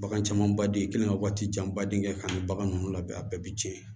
Bagan camanbaden i kan ka waati janba den kɛ kan ni bagan ninnu labɛn a bɛɛ bi tiɲɛ